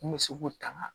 N bɛ se k'o tanga